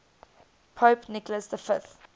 pope nicholas v